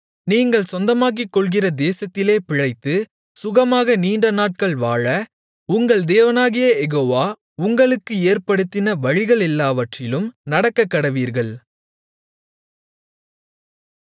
நீங்கள் சொந்தமாக்கிக்கொள்கிற தேசத்திலே பிழைத்து சுகமாக நீண்டநாட்கள் வாழ உங்கள் தேவனாகிய யெகோவா உங்களுக்கு ஏற்படுத்தின வழிகளெல்லாவற்றிலும் நடக்கக்கடவீர்கள்